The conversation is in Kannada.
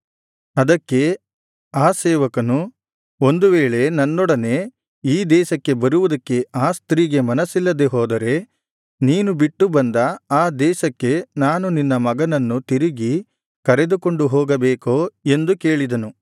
ಅದಕ್ಕೆ ಆ ಸೇವಕನು ಒಂದು ವೇಳೆ ನನ್ನೊಡನೆ ಈ ದೇಶಕ್ಕೆ ಬರುವುದಕ್ಕೆ ಆ ಸ್ತ್ರೀಗೆ ಮನಸ್ಸಿಲ್ಲದೆ ಹೋದರೆ ನೀನು ಬಿಟ್ಟು ಬಂದ ಆ ದೇಶಕ್ಕೆ ನಾನು ನಿನ್ನ ಮಗನನ್ನು ತಿರುಗಿ ಕರೆದುಕೊಂಡು ಹೋಗಬೇಕೋ ಎಂದು ಕೇಳಿದನು